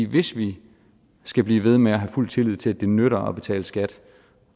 hvis vi skal blive ved med at have fuld tillid til at det nytter at betale skat